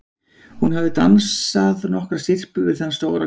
Hún hafði dans- að nokkrar syrpur við þann stóra kvöldið áður.